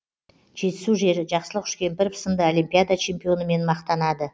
жетісу жері жақсылық үшкемпіров сынды олимпиада чемпионымен мақтанады